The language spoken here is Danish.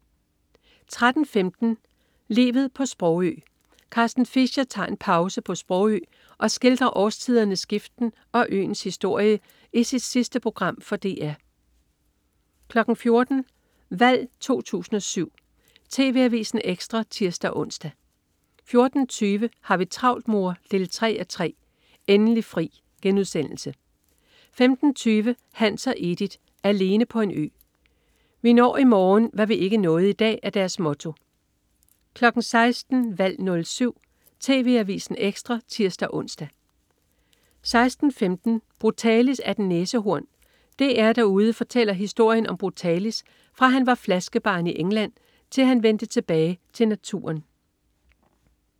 13.15 Livet på Sprogø. Carsten Fischer tager en pause på Sprogø og skildrer årstidernes skiften og øens historie i sit sidste program for DR 14.00 Valg 07. TV Avisen Ekstra (tirs-ons) 14.20 Har vi travlt, mor? 3:3. Endelig fri* 15.20 Hans og Edith. Alene på en ø. Vi når i morgen, hvad vi ikke nåede i dag, er deres motto 16.00 Valg 07. TV Avisen Ekstra (tirs-ons) 16.15 Brutalis er et næsehorn. DR-Derude fortæller historien om Brutalis, fra han var flaskebarn i England, til han vendte tilbage til naturen